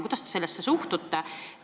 Kuidas te sellesse suhtute?